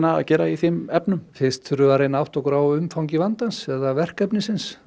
að gera í þeim efnum fyrst þurfum við að reyna að átta okkur á umfangi vandans eða verkefnisins